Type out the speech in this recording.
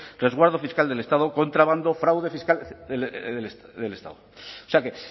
resguardo fiscal del estado contrabando fraude fiscal del estado o sea que